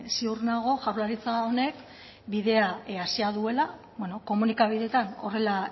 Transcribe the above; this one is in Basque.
ziur nago jaurlaritza honek bidea hasia duela komunikabideetan horrela